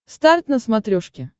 старт на смотрешке